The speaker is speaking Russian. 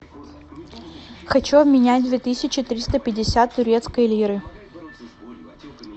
хочу обменять две тысячи триста пятьдесят турецкой лиры